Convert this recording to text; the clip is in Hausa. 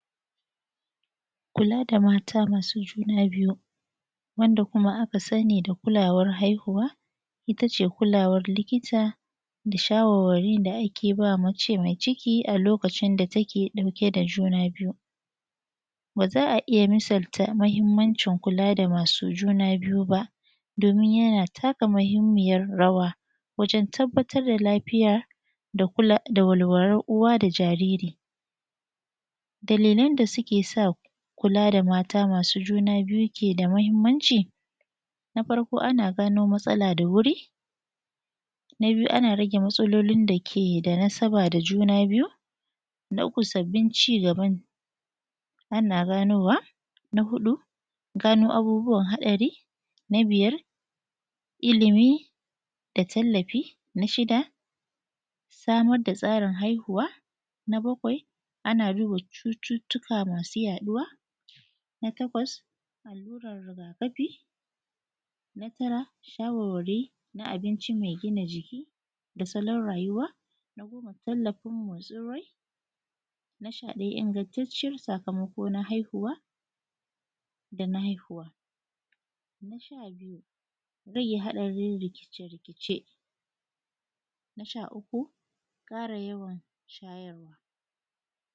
kula da mata masu juna biyu wanda aka kuma sani da kulawar haihuwa itace kulawar likita da shawarwari da take ba mace mai ciki a lokacin da take dauke da juna biyu ba za a ija misalta mahimmancin kula da masu juna biyu ba don yana taka muhimmiyar rawa da tabbatar da lafiya da walwalar uwa da jariri dalilan da suke sa kula da mata masu juna biju ke da mahimmanci na farko ana gano matsala da wuri na biyu ana rage matsaloli da suke da nasaba da masu juna biyu na uku sabbin cigaba ana gano wa na hudu gano abubuwan hatsari na bijar ilimi da tallafi na shida samar da tsarin haihuwa na bakwai ana duba cututtuka masa yaduwa na takwas allurar riga kafi na tara shawarwari na abinci mai gina jiki da salan rayuwa na goma tallafin motsin rai na shadaya ingantaciyar sakama ko na haihuwa da na haihuwa na sha biyu rage hadarin rikice-rikice na sha uku kara yawan shayarwa